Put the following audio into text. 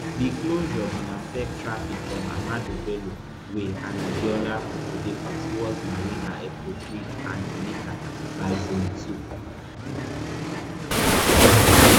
di closure bin affect traffic from ahmadu bello way and adeola odeku towards marina eko bridge and onikan by zone two